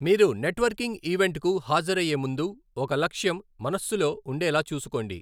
మీరు నెట్వర్కింగ్ ఈవెంట్కు హాజరయ్యే ముందు, ఒక లక్ష్యం మనస్సులో ఉండేలా చూసుకోండి.